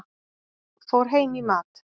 Fór heim í mat.